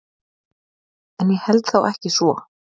En ég held þó ekki svo.